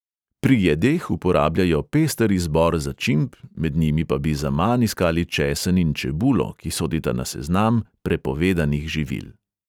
Pri jedeh uporabljajo pester izbor začimb, med njimi pa bi zaman iskali česen in čebulo, ki sodita na seznam prepovedanih živil.